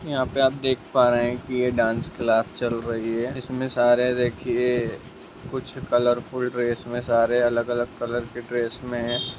यहाँ पे आप देख पा रहे हैं कि ये डांस क्लास चल रही है | इसमे सारे देखिये कुछ कलरफुल ड्रेस में सारे अलग-अलग ड्रेस में --